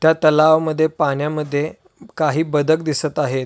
त्या तलावामध्ये पाण्यामध्ये काही बदक दिसत आहेत.